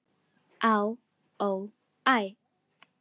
Á, ó, æ